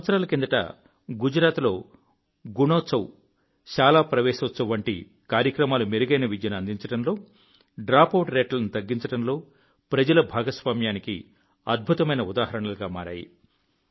కొన్ని సంవత్సరాల కిందట గుజరాత్ లో గుణోత్సవ్ శాలా ప్రవేశోత్సవ్ వంటి కార్యక్రమాలు మెరుగైన విద్యను అందించడంలో డ్రాపౌట్ రేట్లను తగ్గించడంలో ప్రజల భాగస్వామ్యానికి అద్భుతమైన ఉదాహరణలుగా మారాయి